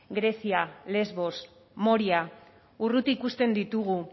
grezia lesbos moria urruti ikusten ditugu